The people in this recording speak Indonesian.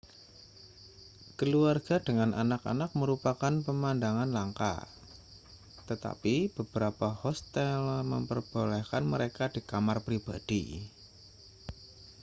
keluarga dengan anak-anak merupakan pemandangan langka tetapi beberapa hostel memperbolehkan mereka di kamar pribadi